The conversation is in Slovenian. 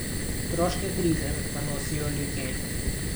Stroške krize pa nosijo ljudje.